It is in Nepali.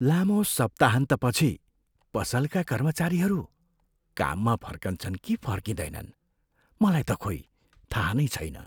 लामो सप्ताहन्तपछि पसलका कर्मचारीहरू काममा फर्कन्छन् कि फर्किँदैनन्, मलाई त खोई थाहा नै छैन।